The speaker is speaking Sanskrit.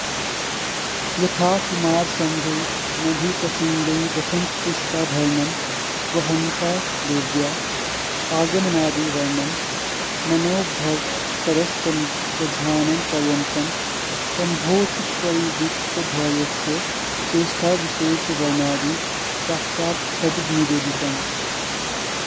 यथा कुमारसम्भवे मधुप्रसङ्गे वसन्तपुष्पाभरणं वहन्त्या देव्या आगमनादिवर्णनं मनोभवशरसन्धानपर्यन्तं शम्भोश्च परिवृत्तधैर्यस्य चेष्टाविशेषवर्णनादि साक्षच्छब्दनिवेदितम्